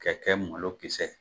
Ka kɛ malo kisɛ ye.